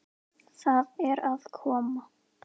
Það er að koma!